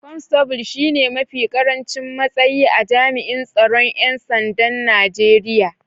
constable shine mafi karancin matsayi a jami'in tsaron ‘yan sandan Najeriya.